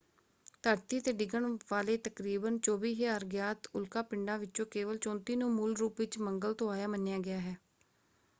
ਧਰਤੀ ‘ਤੇ ਡਿੱਗਣ ਵਾਲੇ ਤਕਰੀਬਨ 24,000 ਗਿਆਤ ਉਲਕਾ ਪਿੰਡਾਂ ਵਿੱਚੋਂ ਕੇਵਲ 34 ਨੂੰ ਮੂਲ ਰੂਪ ਵਿੱਚ ਮੰਗਲ ਤੋਂ ਆਇਆ ਮੰਨਿਆ ਗਿਆ ਹੈ।